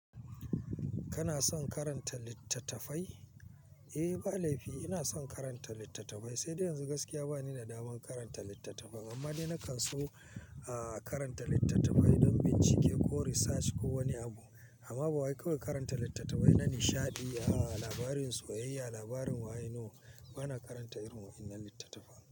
Kana son karanta littattafai? Eh, ba laifi. Ina son karanta littattafai, sai dai yanzu gaskiya bani da daman karanta littattafai. Amma dai nakan so, aah, karanta littattafai don bincike ko research ko wani abu. Amma ba wa iko karanta littattafai na nishaɗi. Aah, labarin soyayya, labarin waye no bana karanta irin wa'innan littattafai.